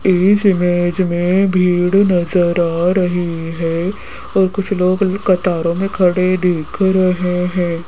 इस इमेज में भीड़ नजर आ रही है और कुछ लोग कतारो में खड़े दिख रहे हैं।